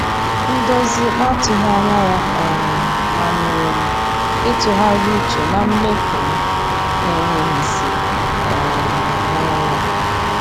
Ndozi na-atụghị anya ya um manyere m ịtụgharị uche na mmefu m na-enweghị isi um n'ọnwa a.